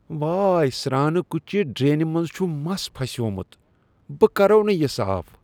وٲے! سرٛانہٕ کٹھۍ چہ ڈرٛینہ منٛز چھ مس پھسیومت۔ بہٕ کرووٕ نہٕ یہ صاف۔